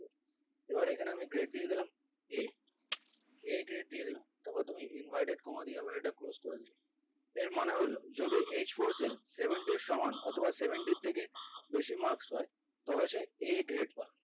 এবার এখানে আমি grade দিয়ে দিলাম a a grade দিয়ে দিলাম তারপর তুমি inverted comma দিয়ে এটা closed করে দিলে এর মানে হলো যদি h four seal seventy সমান অথবা seventy থেকে বেশি marks হয় তবে সে a grade পাবে